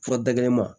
Fura da kelen ma